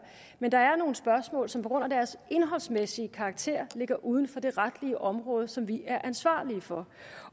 men der er nogle spørgsmål som på grund af deres indholdsmæssige karakter ligger uden for det retlige område som vi er ansvarlige for